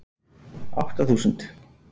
Átta þúsund